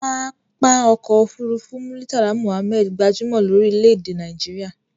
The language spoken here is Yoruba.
Pápá ọkọ òfúrúúfú Muritala Muhammad gbajúmò lórí lédè ẹ Naijiria